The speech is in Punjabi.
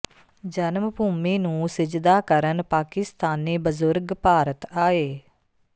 ਜਨਮ ਭੂਮੀ ਨੂੰ ਸਿਜਦਾ ਕਰਨ ਪਾਕਿਸਤਾਨੀ ਬਜ਼ੁਰਗ ਭਾਰਤ ਆਏ